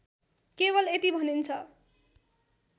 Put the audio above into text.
केवल यति भनिन्छ